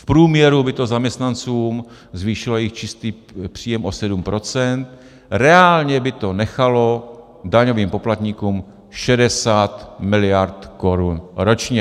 V průměru by to zaměstnancům zvýšilo jejich čistý příjem o 7 %, reálně by to nechalo daňovým poplatníkům 60 miliard korun ročně.